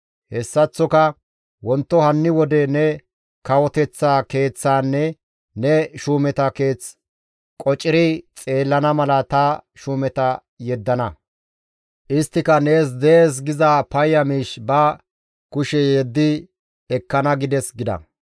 Hessaththoka wonto hanni wode ne kawoteththa keeththaanne ne shuumeta keeth qociri xeellana mala ta shuumeta yeddana. Isttika nees dees giza payya miish ba kushe yeddi ekkana› gides» gida.